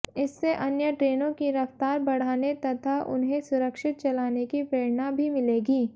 इससे अन्य ट्रेनों की रफ्तार बढ़ाने तथा उन्हें सुरक्षित चलाने की प्रेरणा भी मिलेगी